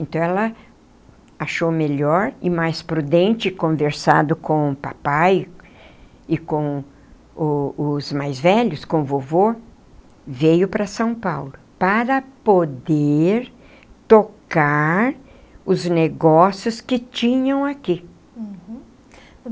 Então, ela achou melhor e mais prudente conversado com o papai e com o os mais velhos, com o vovô, veio para São Paulo para poder tocar os negócios que tinham aqui. Uhum.